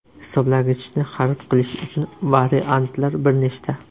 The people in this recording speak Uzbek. Hisoblagichni xarid qilish uchun variantlar bir nechta.